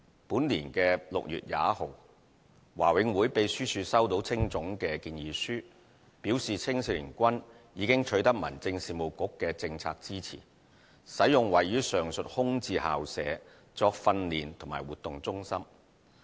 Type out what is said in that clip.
本年6月21日，華永會秘書處收到青總的建議書，表示青總已取得民政事務局的政策支持，使用位於上述空置校舍作訓練及活動中心。